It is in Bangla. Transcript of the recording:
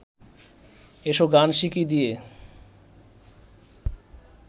এসো গান শিখি দিয়ে